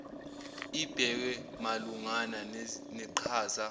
ibhekwe malungana neqhaza